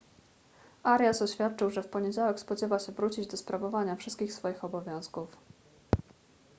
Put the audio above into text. arias oświadczył że w poniedziałek spodziewa się wrócić do sprawowania wszystkich swoich obowiązków